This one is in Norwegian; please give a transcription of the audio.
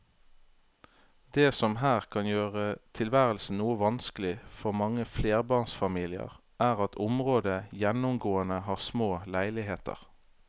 Det som her kan gjøre tilværelsen noe vanskelig for mange flerbarnsfamilier er at området gjennomgående har små leiligheter.